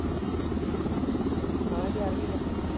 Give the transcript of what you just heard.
ਹਾਂ ਗਿਆਰਵੀ ਕਰਨੀ ਆ।